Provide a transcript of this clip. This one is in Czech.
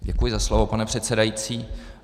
Děkuji za slovo, pane předsedající.